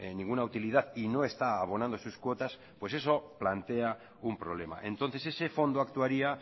ninguna utilidad y no está abonando sus cuotas eso plantea un problema entonces ese fondo actuaría